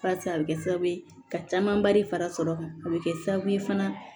Pase a bɛ kɛ sababu ye ka camanba de fara sɔrɔ kan a bɛ kɛ sababu ye fana